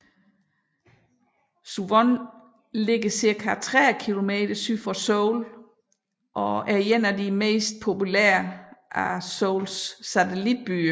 Suwon ligger cirka 30 kilometer syd for Seoul og er en af de mest populærer af Seouls satelitbyer